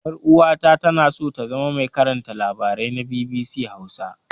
Ƴar'uwata tana so ta zama mai aikin karanta labarai na BBC Hausa.